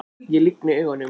Ég lygni augunum.